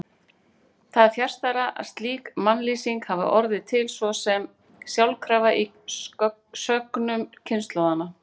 Það er fjarstæða að slík mannlýsing hafi orðið til svo sem sjálfkrafa í sögnum kynslóðanna.